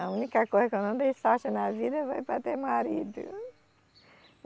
A única coisa que eu não dei sorte na vida foi para ter marido.